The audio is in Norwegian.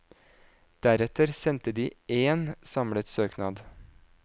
Deretter sendte de én samlet søknad.